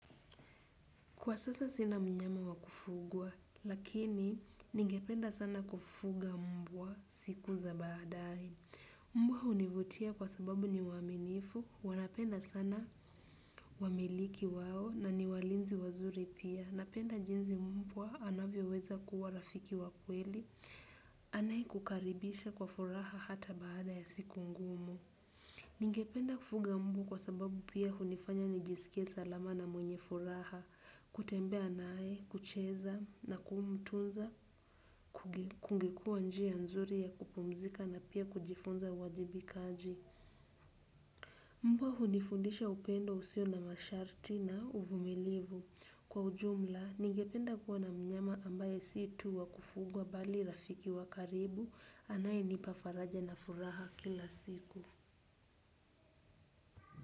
Kwa sasa sina mnyama wa kufugwa, lakini ningependa sana kufuga mbwa siku za baadae. Mbwa hunivutia kwa sababu ni waaminifu, wanapenda sana wamiliki wao na ni walinzi wazuri pia. Napenda jinsi mbwa anavyoweza kuwa rafiki wa kweli, anayekukaribisha kwa furaha hata baada ya siku ngumu. Ningependa kufuga mbwa kwa sababu pia hunifanya nijisikie salama na mwenye furaha, kutembea naye, kucheza na kumtunza, kungekua njia nzuri ya kupumzika na pia kujifunza uwajibikaji. Mbwa hunifundisha upendo usio na masharti na uvumilivu. Kwa ujumla, ningependa kuwa na mnyama ambaye si tu wa kufugwa bali rafiki wa karibu anayenipa faraja na furaha kila siku.